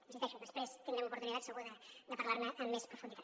hi insisteixo després tindrem oportunitat segur de parlar ne amb més profunditat